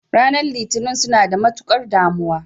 Ranar litinin suna da matukar damuwa.